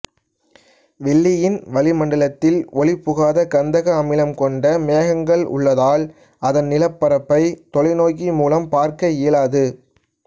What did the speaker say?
வெள்ளியின் வளிமண்டலத்தில் ஒளிப்புகாத கந்தக அமிலம் கொண்ட மேகங்கள் உள்ளதால் அதன் நிலப்பரப்பை தொலைநோக்கி மூலம் பார்க்க இயலாது